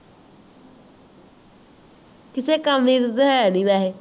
ਕਿੱਸੇ ਕੰਮ ਦੀ ਤਾਂ ਹੈ ਨੀ ਵੈਸੇ